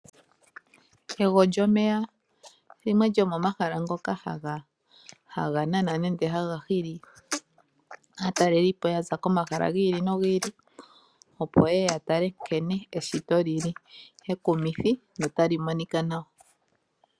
Egwo lyomeya limwe lyo momahala ngoka haga nana nenge haga hili aatalelipo okuza komahala gi ili nogi ili opo yeye ya tale nkenw eshito lili